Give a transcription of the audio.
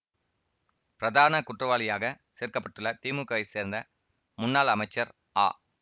பிரதான குற்றவாளியாக சேர்க்கப்பட்டுள்ள திமுகாவைச் சேர்ந்த முன்னாள் அமைச்சர் ஆ